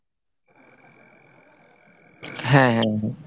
হ্যাঁ হ্যাঁ।